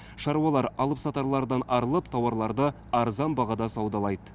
шаруалар алыпсатарлардан арылып тауарларды арзан бағада саудалайды